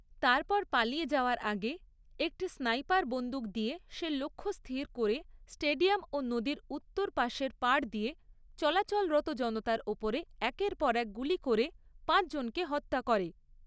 তারপর পালিয়ে যাওয়ার আগে একটি স্নাইপার বন্দুক দিয়ে সে লক্ষ্য স্থির করে স্টেডিয়াম ও নদীর উত্তর পাশের পাড় দিয়ে চলাচলরত জনতার ওপরে একের পর এক গুলি করে পাঁচজনকে হত্যা করে।